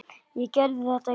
Ég gerði þetta, já.